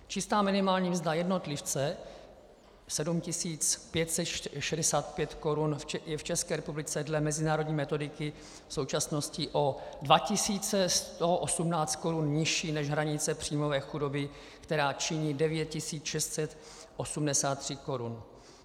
Čistá minimální mzda jednotlivce 7 565 korun je v České republice dle mezinárodní metodiky v současnosti o 2 118 korun nižší než hranice příjmové chudoby, která činí 9 683 korun.